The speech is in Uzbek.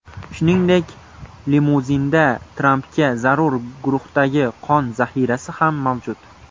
Shuningdek, limuzinda Trampga zarur guruhdagi qon zaxirasi ham mavjud.